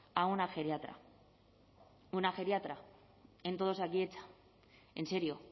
a una geriatra una geriatra en todo osakidetza en serio